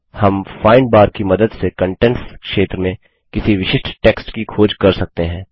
हम find bar की मदद से कंटेंट्स क्षेत्र में किसी विशिष्ट टेक्स्ट की खोज कर सकते हैं